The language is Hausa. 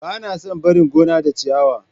Ba na son barin gona da ciyawa.